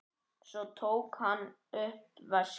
Svo tók hann upp veskið.